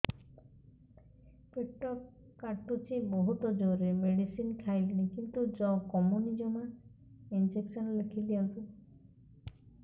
ପେଟ କାଟୁଛି ବହୁତ ଜୋରରେ ମେଡିସିନ ଖାଇଲିଣି କିନ୍ତୁ କମୁନି ଜମା ଇଂଜେକସନ ଲେଖିଦିଅନ୍ତୁ